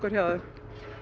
hjá þeim